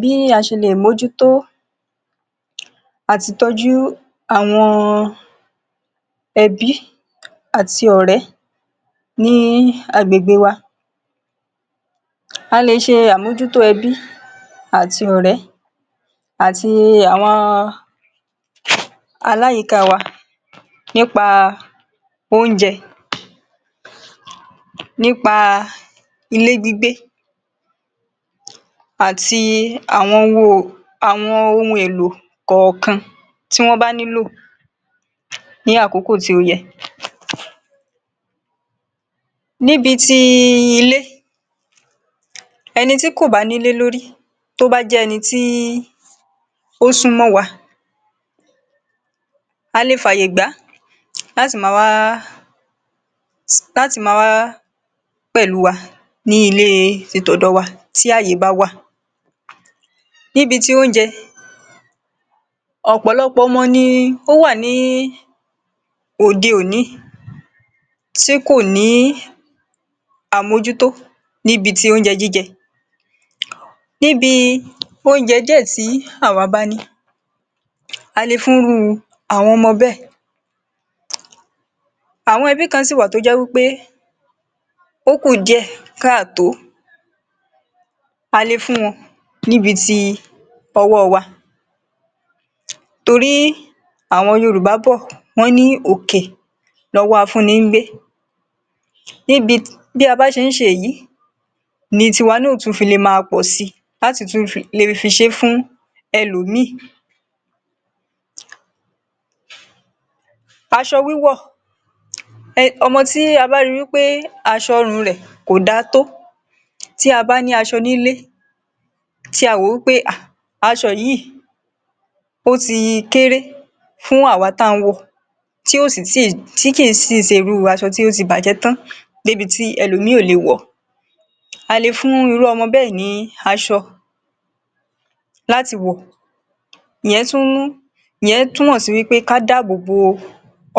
Bí a ṣẹlẹ̀ mójútó àti tọ́jú àwọn ẹbí àti ọ̀rẹ́ ní agbègbè wá. A lè ṣe àmójútó ẹbí àti ọ̀rẹ́ àti àwọn aláyìíká wa nípa oúnje, nípa ilé gbígbé àti àwọn àwọn ohun èlò kọ̀ọ̀kan tí wọ́n bá nílò ní àkókò tí ó yẹ. Níbi tí ilé, ẹni tí kò bá nílé lórí tó bá jẹ́ ẹni tí ó sún mọ́ wa, a le fàyè gbá láti ma wá láti ma wá pẹ̀lú wa ní ilée ti tọ̀dọ̀ wa tí àyè bá wà. Níbi tí oúnjẹ, ọ̀pọ̀lọpọ̀ ọmọ ni ó wà ní òde-òní tí kò ní àmójútó níbi ti oúnjẹ jíjẹ. Níbi oúnjẹ díẹ̀ tí àwa bá ní, a le fún rú àwọn ọmọ bẹ́ẹ̀. Àwọn ẹbí kan sì wà tó jẹ́ wí pé ó kú díẹ̀ káàtó, a le fún wọn níbi ti ọwọ́ wa torí àwọn Yorùbá bọ̀ wọ́n ní: “òkè lọwọ́ afúnni ń gbé”. Níbi bí a bá ṣe ń ṣe èyí, ní tiwa náà ó tù fi le máa pọ̀ si láti tún le fi ṣe fún ẹlòmíì. Taṣọ wíwọ̀, ọmọ tí a bá ri wí pé aṣọ ọrùn rẹ̀ kò da tó tí a bá ní aṣọ nílé, tí a wò wí pé hà aṣọ yìí ó ti kéré fún àwa tán ń wọ̀ ọ́ tí ó sì tí tí kì í si ṣe irú aṣọ tí ó tí bàjẹ́ tán débi tí ẹlòmíì ò lè wọ̀ ọ́. A le fún irú ọmọ bẹẹ ní aṣọ láti wọ̀, ìyẹn túmọ̀ sí wí pé ká dáàbò bo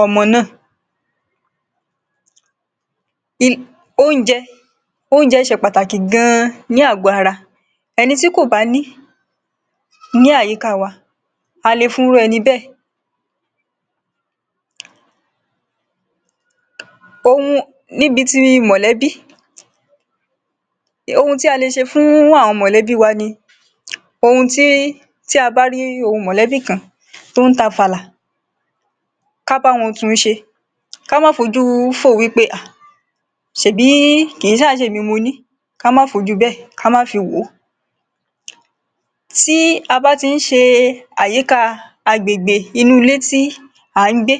ọmọ náà. Oúnjẹ Oúnjẹ ṣe pàtàkì gan-an ní àgọ́ ara ẹni tí kò bá ní àyíká wa, a le fún rú ẹni bẹ́ẹ̀. Ohun níbi ti mọ̀lẹ́bí, ohun tí a le ṣe fún àwọn mọ̀lẹ́bí wa ni: ohun tí tí a bá rí ohun mọ̀lẹ́bí kan tó ń tàfàlà, ká bá wọn tunṣe, ká má fojú fò ó wí pé hà ṣẹ̀bí kìí ṣà ṣèmi mo ní, ká má fojú bẹ́ẹ̀ ká má fi wò ó. Tí a bá ti ń ṣe àyíká agbègbè inú ilé tí à ń gbé,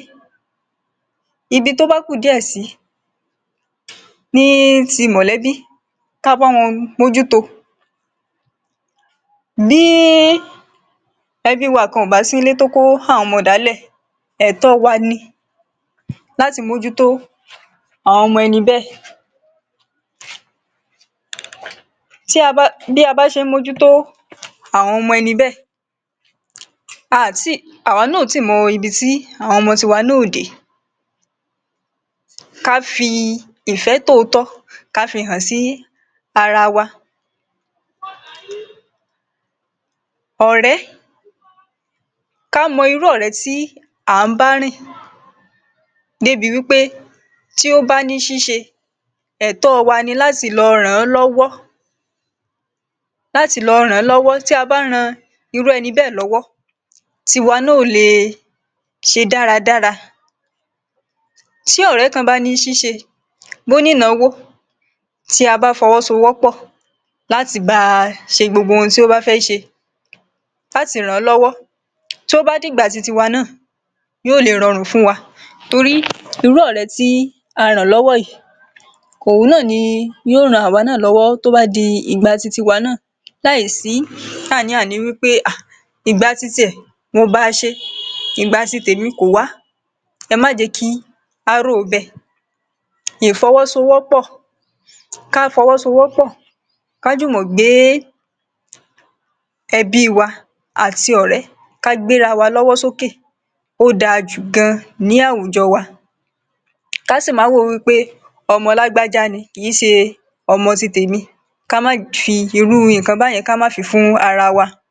ibi tó bá kù díẹ̀ sí ní ti mọ̀lẹ́bí, ka bá wọn mójúto. Bí ẹbí wa kan ò bá sí nílé tó kó àwọn ọmọ dàálẹ̀, ẹ̀tọ́ wa ni láti mójútó àwọn ọmọ ẹni bẹ́ẹ̀. Bí a bá ṣe ń mójútó àwọn ọmọ ẹni bẹ́ẹ̀, a à tí àwa náà ò ì tí mọ ibi tí àwọn ọmọ tiwa náà yóò dé. Ká fi ìfẹ́ tòótọ́ ká fi hàn sí ara wa. Ọ̀rẹ́ Ká mọ irú ọ̀rẹ́ tí à ń bá rìn débi wí pé tí ó bá ní ṣíṣe, ẹ̀tọ́ wa ni láti lọ ràn án lọ́wọ́ láti lọ ràn án lọ́wọ́. Tí a bá ran irú ẹni bẹẹ lọ́wọ́ tí wa náà ó le ṣe dára dára. Tí ọ̀rẹ́ kan bá ní ṣíṣe, bó ní ìnáwó tí a bá fọwọ́sowọ́pọ̀ láti ba ṣe gbogbo ohun tí ó bá fẹ́ ṣe, láti ràn án lọ́wọ́ tí ó bá di ìgbà titiwa náà, yóò lè rọrùn fún wa. Torí irú ọ̀rẹ́ tí à ràn lọ́wọ́ yìí, òun náà ni yóò ran àwa náà lọ́wọ́ tó bá di ìgbà titiwa náà láì sí àní-àní wí pé hà ìgba titiẹ̀ mo ba ṣe, ìgbà ti tèmi kò wá. Ẹ má jẹ́ kí á rò ó bẹ́ẹ̀. Ìfọwọ́sowọ́pọ̀, ká fọwọ́sowọ́pọ̀, ká jùmọ̀ gbé ẹbí wa àti ọ̀rẹ́ ká gbé ra wa lọ́wọ́ sókè, ó da jù gan-an ní àwùjọ wa. Ká sì má wò wí pé ọmọ lágbájá ni kì í ṣe ọmọ ti tèmi, ká má fi irú nǹkan bá yẹn ká má fi fún ara wa.